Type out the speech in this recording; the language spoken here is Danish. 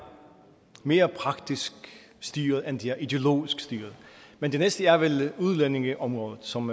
mere praktisk styret end det er ideologisk styret men det næste er vel udlændingeområdet som